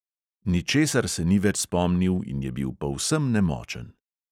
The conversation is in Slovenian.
Ničesar se ni več spomnil in je bil povsem nemočen.